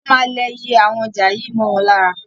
Wọ́n máa lẹ iye awon ọjà yìí mọ́ wọn lára.